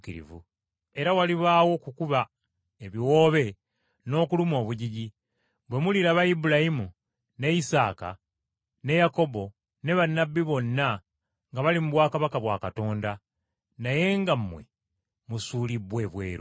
Era waliba okukuba ebiwoobe n’okuluma obujiji bwe muliraba Ibulayimu, ne Isaaka, ne Yakobo ne bannabbi bonna nga bali mu bwakabaka bwa Katonda, naye nga mmwe musuulibbwa ebweru.